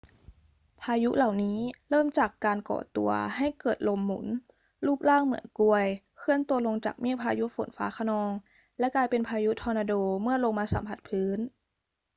พายุเหล่านี้เริ่มจากการก่อตัวให้เกิดลมหมุนรูปร่างเหมือนกรวยเคลื่อนตัวลงจากเมฆพายุฝนฟ้าคะนอง และกลายเป็น พายุทอร์นาโด เมื่อลงมาสัมผัสพื้น